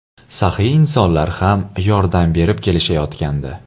Saxiy insonlar ham yordam berib kelishayotgandi.